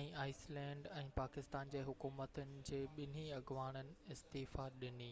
۽ Iceland ۽ Pakistan جي حڪومتن جي ٻنهي اڳواڻن استعيفيٰ ڏني